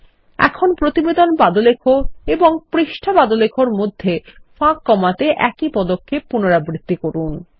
ল্টপাউসেগ্ট এখনপ্রতিবেদন পাদলেখএবংপৃষ্ঠা পাদলেখ এরমধ্যে ফাঁক কমাতে একই পদক্ষেপ পুনরাবৃত্তি করুন